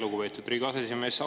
Lugupeetud Riigikogu aseesimees!